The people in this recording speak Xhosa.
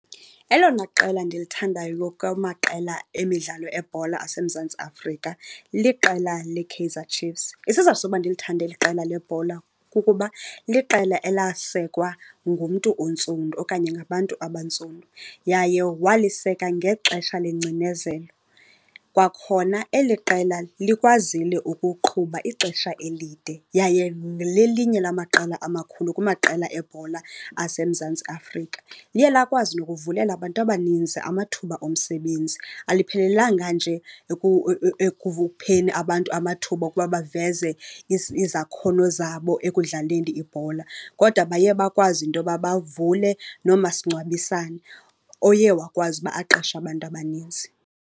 Elona qela ndilithandayo kwamaqela emidlalo ebhola aseMzantsi Afrika liqela leKaizer Chiefs. Isizathu soba ndilithande eli qela lebhola kukuba liqela elasekwa ngumntu ontsundu okanye ngabantu abantsundu yaye waliseka ngexesha lengcinezelo. Kwakhona eli qela likwazile ukuqhuba ixesha elide yaye lelinye amaqela amakhulu kumaqela ebhola aseMzantsi Afrika. Liye lakwazi nokuvulela abantu abaninzi amathuba omsebenzi. Aliphelelanga nje abantu amathuba okuba baveze izakhono zabo ekudlaleni ibhola, kodwa baye bakwazi into yoba bavule nomasingcwabisane oye wakwazi uba aqeshe abantu abaninzi.